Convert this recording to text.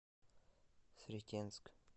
сретенск